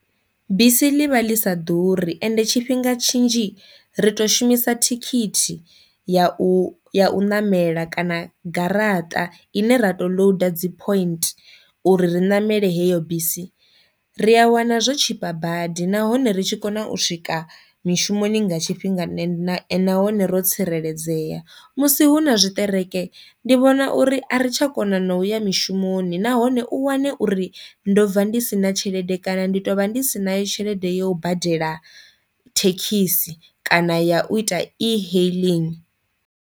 Bisi ḽi vha ḽi sa ḓuri ende tshifhinga tshinzhi ri to shumisa thikhithi ya u ya u ṋamela kana garaṱa ine ra to load dzi point uri ri ṋamele heyo bisi, ri a wana zwo tshipa badi nahone ri tshi kona u swika mishumoni nga tshifhinga nṋe na nahone ro tsireledzea, musi hu na zwiṱereke ndi vhona uri a ri tsha kona na u uya mishumoni nahone u wane uri ndo bva ndi sina tshelede kana ndi tovha ndi si na yo tshelede ya u badela thekhisi kana ya u ita e-hailing.